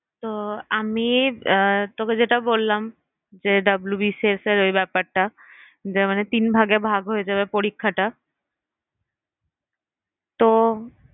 তো আমি আহ তোকে যেটা বললাম যে WBCS এর ওই ব্যাপারটা যে মানে তিন ভাগে ভাগ হয়ে যাবে পরীক্ষাটা তো